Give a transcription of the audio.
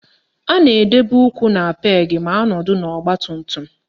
A na-edobe ụkwụ na peegị ma anọdụ n'ọgbatumtum